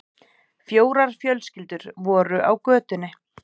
Fjórar fjölskyldur voru á götunni.